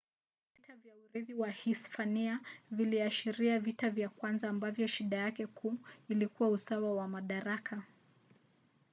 vita vya urithi wa uhispania viliashiria vita vya kwanza ambavyo shida yake kuu ilikuwa usawa wa madaraka